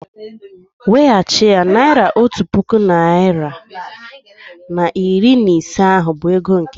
Wechie ya! Naira otu puku narị na iri na ise ahụ bụ ego Nkechi